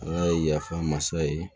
Ala ye yafa masa ye